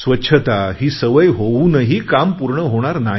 स्वच्छता ही सवय होऊनही काम पूर्ण होणार नाही